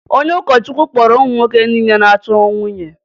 Onye ụkọchukwu kpọrọ ụmụ nwoke niile na-achọ nwunye